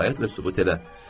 İtaət və sübut elə.